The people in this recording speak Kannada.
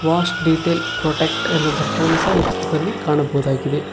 ವಾಚ್ ಡಿಟೈಲ್ ಪ್ರೊಟೆಕ್ಟ್ ಎಂಬ ಬರಹವನ್ನು ಸಹ ಈ ಚಿತ್ರದಲ್ಲಿ ಕಾಣಬಹುದಾಗಿದೆ.